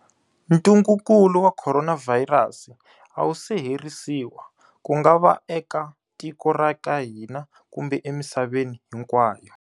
Ntungukulu wa Khoronavhayirasi a wu se herisiwa, ku nga va eka tiko ra ka hina kumbe emisaveni hinkwayo.